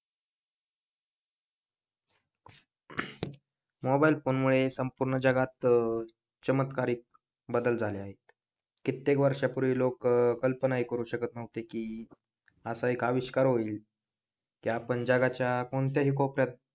mobile phone मुळे संपूर्ण जगात चमत्कारिक बदल झाले आहे कित्येक वर्षापूर्वी लोक कल्पना ही करू शकत नव्हते की असा एक आविष्कार होईल की आपण जगाच्या कोणत्याही कोपऱ्यात